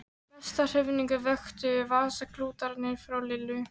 Mesta hrifningu vöktu vasaklútarnir frá Lillu.